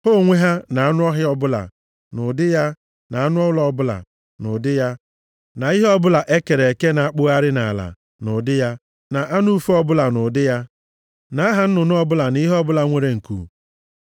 Ha onwe ha, na anụ ọhịa ọbụla, nʼụdị ya, na anụ ụlọ ọbụla, nʼụdị ya na ihe ọbụla e kere eke na-akpụgharị nʼala, nʼụdị ya, na anụ ufe ọbụla nʼụdị ya, na aha nnụnụ ọbụla na ihe ọbụla nwere nku.